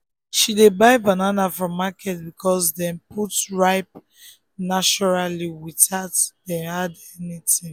she dey buy banana from market because dem dey ripe naturally without dem add anything.